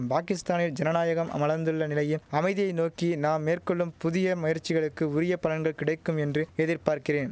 பாகிஸ்தானில் ஜனநாயகம் அமலர்ந்துள்ள நிலையில் அமைதியை நோக்கி நாம் மேற்கொள்ளும் புதிய முயற்சிகளுக்கு உரிய பலன்கள் கிடைக்கும் என்று எதிர்பார்க்கிறேன்